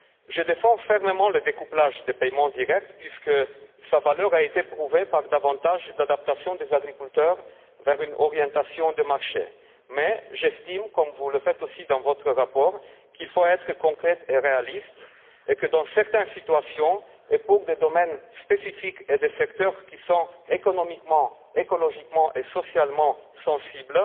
Je défends fermement le découplage des paiements directs, puisque sa valeur a été prouvée par une meilleure adaptation des agriculteurs à une orientation sur le marché, mais j'estime, comme vous le faites aussi dans votre rapport, qu'il faut être concret et réaliste, et que dans certaines situations, pour des domaines spécifiques et des secteurs qui sont économiquement, écologiquement et socialement sensibles,